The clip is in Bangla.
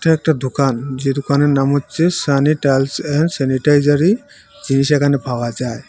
এটা একটা দোকান যে দোকানের নাম হচ্ছে সানি টাইলস অ্যান্ড স্যানিটাইজারি জিনিস এখানে পাওয়া যায়।